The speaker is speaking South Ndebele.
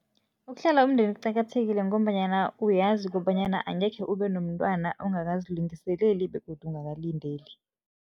Ukuhlela umndeni kuqakathekile ngombanyana uyazi kobanyana angekhe ube nomntwana ungakazilungiseleli begodu ungakalindeli.